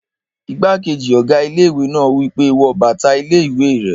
Igbákejì ọ̀gá ilé-ìwé náà wí pé, "wọ bàtà ilé-ìwé rẹ!"